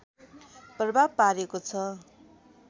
प्रभाव पारेको छ